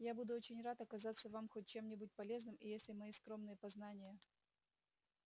я буду очень рад оказаться вам хоть чем-нибудь полезным и если мои скромные познания